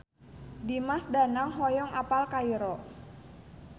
Dimas Danang hoyong apal Kairo